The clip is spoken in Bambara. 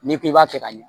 N'i ko i b'a fɛ ka ɲɛ